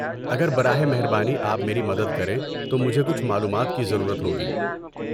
اگر براہ مہربانی آپ میری مدد کریں تو مجھے کچھ معلومات کی ضرورت ہوگی۔